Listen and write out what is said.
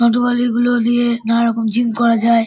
যন্ত্রপাতিগুলো দিয়ে নানারকম জিম করা যায়।